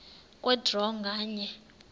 kwe draw nganye